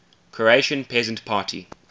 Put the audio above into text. croatian peasant party